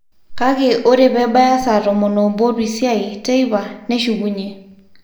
Kake ore pebaya saa tomon obo orpisiai teipa neshukunye